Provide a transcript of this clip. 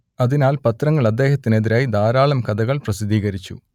അതിനാൽ പത്രങ്ങൾ അദ്ദേഹത്തിനെതിരായി ധാരാളം കഥകൾ പ്രസിദ്ധീകരിച്ചു